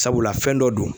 Sabula fɛn dɔ don